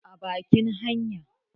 a bakin hanya?